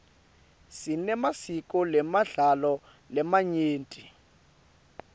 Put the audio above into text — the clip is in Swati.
sinemasiko nemidlalo lamanyenti